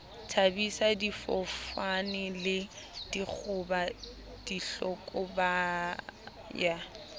thabisa difofane le dikgoba dihlokaboya